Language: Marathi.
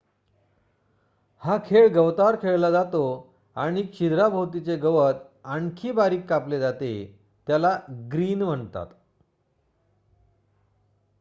हा खेळ गवतावर खेळला जातो आणि छिद्राभोवतीचे गवत आणखी बारीक कापले जाते आणि त्याला ग्रीन म्हणतात